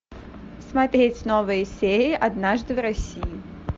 смотреть новые серии однажды в россии